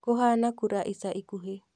Kũhana kura ica ikuhĩ